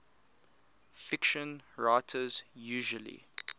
fiction writers usually